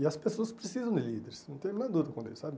E as pessoas precisam de líderes, não tem nada a ver com eles, sabe?